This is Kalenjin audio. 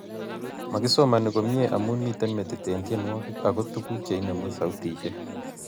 magisomani komnyei amu miten metit eng tyenwogik ago tuguk che inemu sautishek